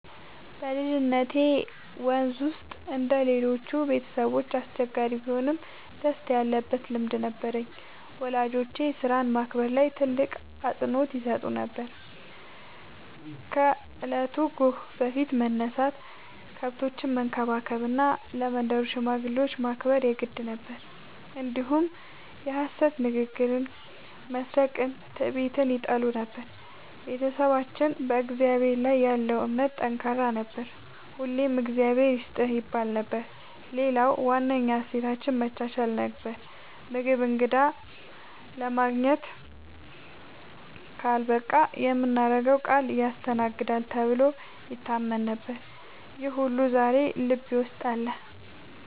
በልጅነቴ መንዝ ውስጥ እንደ ሌሎቹ ቤተሰቦች አስቸጋሪ ቢሆንም ደስታ ያለበት ልምድ ነበረኝ። ወላጆቼ ሥራን ማክበር ላይ ትልቅ አፅንዖት ይሰጡ ነበር፤ ከእለቱ ጎህ በፊት መነሳት፣ ከብቶችን መንከባከብ እና ለመንደሩ ሽማግሌዎች ማክበር የግድ ነበር። እንዲሁም የሐሰት ንግግርን፣ መስረቅንና ትዕቢትን ይጠሉ ነበር። ቤተሰባችን በእግዚአብሔር ላይ ያለው እምነት ጠንካራ ነበር፤ ሁልጊዜ “እግዚአብሔር ይስጥህ” ይባል ነበር። ሌላው ዋነኛ እሴታችን መቻቻል ነበር፤ ምግብ እንግዳ ለማግኘት ካልበቃ የምናገረው ቃል ያስተናግዳል ተብሎ ይታመን ነበር። ይህ ሁሉ ዛሬም ልቤ ውስጥ አለ።